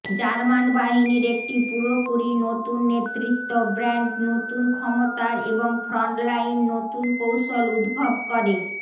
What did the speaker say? German বাহিনীর একটি পুরোপুরি নতুন নেতৃত্ব ব্র্যান্ড নতুন ক্ষমতার এবং ফ্রন্টলাইন নতুন কৌশল উদ্ভব করে